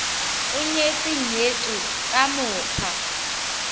o nyetse nyetswe ka mokgwa